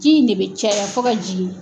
Ji in ne bɛ caya fo ka jigin.